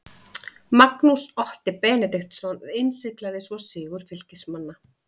Magnús Otti Benediktsson innsiglaði svo sigur Fylkismanna.